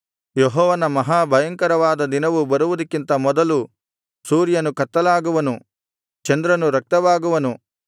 ಯೆಹೋವನ ಮಹಾ ಭಯಂಕರವಾದ ದಿನವು ಬರುವುದಕ್ಕಿಂತ ಮೊದಲು ಸೂರ್ಯನು ಕತ್ತಲಾಗುವನು ಚಂದ್ರನು ರಕ್ತವಾಗುವನು